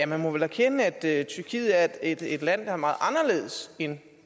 man må vel erkende at tyrkiet er et land der er meget anderledes end